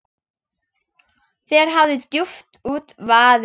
Þér hafi djúpt út vaðið.